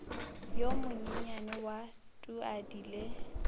yo monyenyane wa tuadi le